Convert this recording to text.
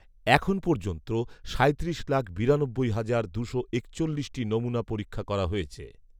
এখন পর্যন্ত সাঁইত্রিশ লাখ বিরানব্বই হাজার দুশো একচল্লিশটি নমুনা পরীক্ষা করা হয়েছে